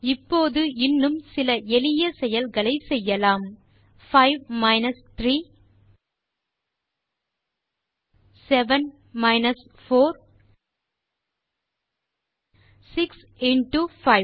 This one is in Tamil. இப்போது இன்னும் சில எளிய செயல்களை செய்யலாம் 5 மைனஸ் 3 7 மைனஸ் 4 6 இன்டோ 5